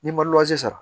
N'i ma sara